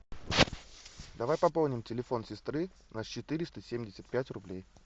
давай пополним телефон сестры на четыреста семьдесят пять рублей